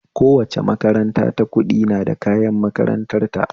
Kowace makaranta ta ƙudi na da kayan makarantar ta